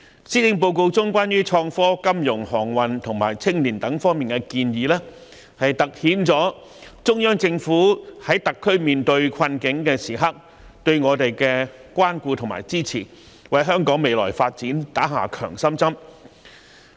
施政報告中有關創科、金融、航運及青年發展等方面的建議，凸顯了中央政府在特區面對困境時對我們的關顧和支持，為香港的未來發展打了一支強心針。